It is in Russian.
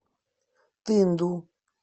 тынду